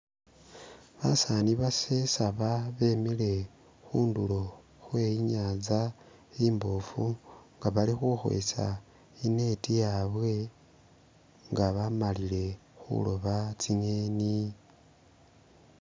Basaani basesaba bemile khundulo khwe inyanza imbofu nga bali khukhwesa e'net yabwe nga bamalile khuloba tsi'ngeni